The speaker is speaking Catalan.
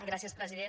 gràcies president